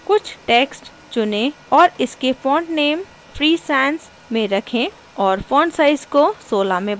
कुछ text चुनें और इसके font नेम free sansमें रखें और font size को 16 में बदलें